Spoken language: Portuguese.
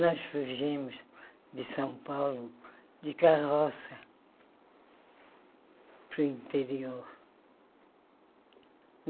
Nós fugimos de São Paulo de carroça para o interior.